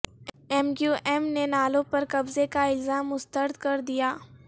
M Q M نے نالوں پر قبضے کا الزام مسترد کردیا